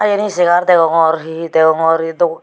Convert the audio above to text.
te yen he segar degongor he he degongor